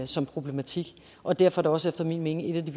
som problematik og derfor er det også efter min mening et af de